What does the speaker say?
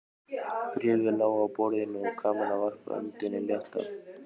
Bréfið lá á borðinu og Kamilla varpaði öndinni léttar.